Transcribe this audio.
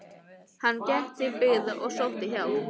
Hann gekk til byggða og sótti hjálp.